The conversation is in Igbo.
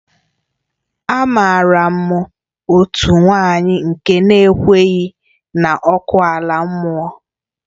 Amaara m otu nwanyị nke na-ekweghị na ọkụ ala mmụọ